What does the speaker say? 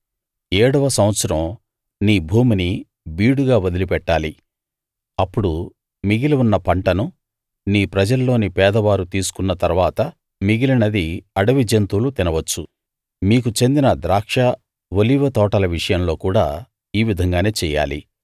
ఏడవ సంవత్సరం నీ భూమిని బీడుగా వదిలి పెట్టాలి అప్పుడు మిగిలి ఉన్న పంటను నీ ప్రజల్లోని పేదవారు తీసుకున్న తరువాత మిగిలినది అడవి జంతువులు తినవచ్చు మీకు చెందిన ద్రాక్ష ఒలీవ తోటల విషయంలో కూడా ఈ విధంగానే చెయ్యాలి